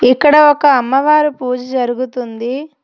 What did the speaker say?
ఇక్కడ ఒక అమ్మవారు పూజ జరుగుతుంది.